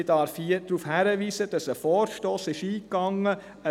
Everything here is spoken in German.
Ich darf hier darauf hinweisen, dass eine Finanzmotion () eingegangen ist.